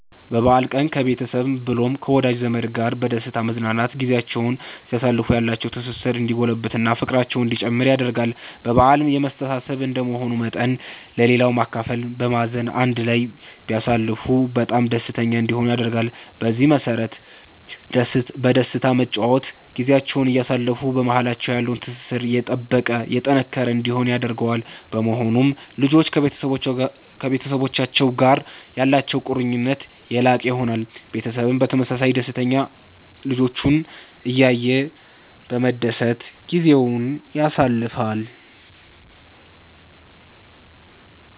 በበአል ቀን ከቤተሰብ ብሎም ከወዳጅ ዘመድ ጋር በደስታ በመዝናናት ጊዚያቸዉን ሲያሳልፉ ያላቸዉ ትስስር እንዲጎለብት እና ፍቅራቸዉ እንዲጨምር ያደርጋል በአል የመተሳሰብ እንደመሆኑ መጠን ለሌላዉ በማካፈል በማዘን አንድ ላይ ቢያሳልፉ በጣም ደስተኛ እንዲሆኑ ያደርጋል። በዚህ መሰረት በደስታ በመጨዋወት ጊዚያቸዉን እያሳለፉ በማሃላቸዉ ያለዉ ትስስር የጠበቀ የጠነከረ እንዲሆን ያደርገዋል። በመሆኑም ልጆች ከቤተሰቡቻቸዉ ጋር ያላቸዉ ቁርኝት የላቀ ይሆናል። ቤተሰብም በተመሳሳይ ደስተኛ ልጆቹን እያየ በመደሰት ጊዜዉን ያሳልፋል